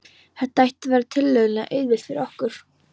Þetta ætti að verða tiltölulega auðvelt fyrir okkur.